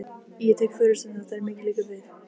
Ég tek forystuna, þegar mikið liggur við!